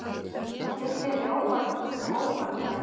Bjóddu henni ópal, maður.